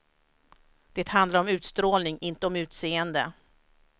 Det handlar om utstrålning, inte om utseende.